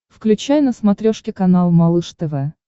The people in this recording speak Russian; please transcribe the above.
включай на смотрешке канал малыш тв